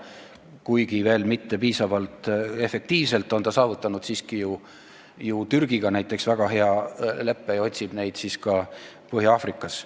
Kuigi liit ei ole selles vallas veel piisavalt efektiivne, on ta ju siiski näiteks Türgiga väga hea leppe saavutanud ja otsib võimalusi ka Põhja-Aafrikas.